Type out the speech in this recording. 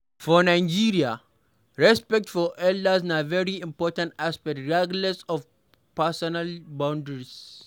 For Nigeria, respect for elders na very important aspect regardless of personal boundaries